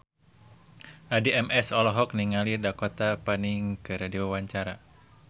Addie MS olohok ningali Dakota Fanning keur diwawancara